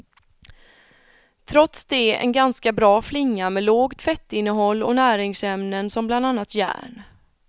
Trots det en ganska bra flinga med lågt fettinnehåll och näringsämnen som bland annat järn.